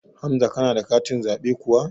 Hamza kana da katin zaɓe kuwa?